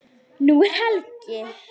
Nú er helgi.